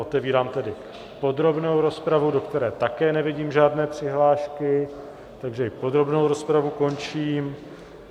Otevírám tedy podrobnou rozpravu, do které také nevidím žádné přihlášky, takže i podrobnou rozpravu končím.